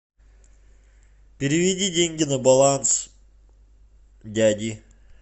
переведи деньги на баланс дяди